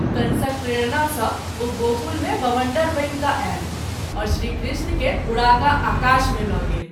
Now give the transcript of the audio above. कंसक प्रेरणा सँ ओ गोकुल मे बबंडर बनि क’ आयल आओर श्री कृष्ण के उड़ा क’ आकाश मे ल’ गेल।